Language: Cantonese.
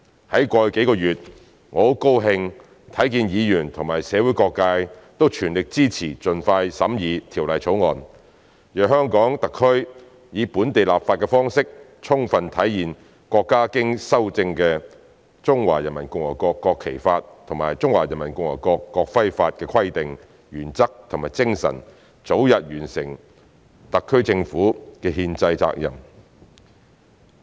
在過去幾個月，我很高興看見議員及社會各界都全力支持盡快審議《條例草案》，讓香港特區以本地立法的方式，充分體現國家經修正的《中華人民共和國國旗法》及《中華人民共和國國徽法》的規定、原則和精神，早日完成特區政府的憲制責任。